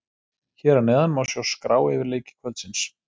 Hér að neðan má sjá skrá yfir leiki kvöldsins.